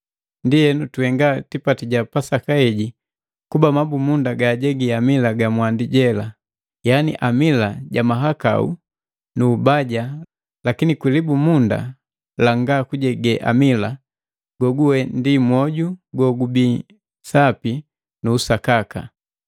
Ndienu tuhenga tipati ja Pasaka haga bila kuba mabumunda jejegi amila ja mwandi jela, yani amila ja mahakau nu ubaja lakini kwi libumunda langa kujege amila, goguwe ndi mwoju gogubii sapi nu usakaka.